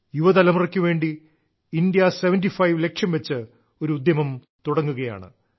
യുവതലമുറയ്ക്കുവേണ്ടി കിറശമ ലെ്ലി്യേ ളശ്ല ലക്ഷ്യം വെച്ച് ഒരു ഉദ്യമം തുടങ്ങുകയാണ്